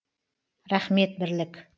рахмет бірлік